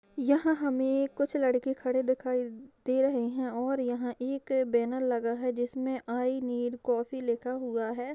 यहाँ हमे एक कुछ लड़के खड़े दिख रहे है और यहाँ एक बैनर लगा है जिसमे आइ नीड़ कॉफी लिखा हुआ है।